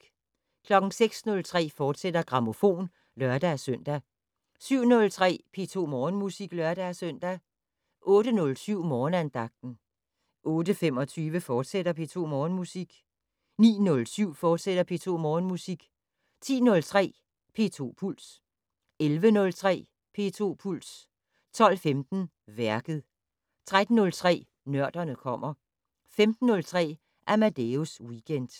06:03: Grammofon, fortsat (lør-søn) 07:03: P2 Morgenmusik (lør-søn) 08:07: Morgenandagten 08:25: P2 Morgenmusik, fortsat 09:07: P2 Morgenmusik, fortsat 10:03: P2 Puls 11:03: P2 Puls 12:15: Værket 13:03: Nørderne kommer 15:03: Amadeus Weekend